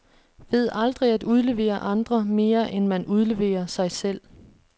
Ved aldrig at udlevere andre, mere end man udleverer sig selv.